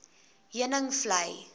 heuningvlei